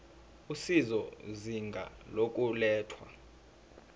usizo izinga lokulethwa